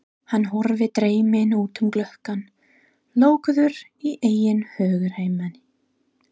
Hann horfir dreyminn út um gluggann, lokaður í eigin hugarheimi.